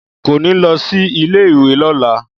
Kò ní lọ sí ilé-ìwé lọ́la